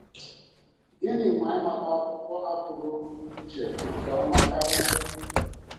Gịnị ma ị mata akwụkwọ a pụrụ iche nke ọma karị?